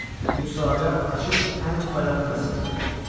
Bu sadə, açıq və ən bayağı məsələdir.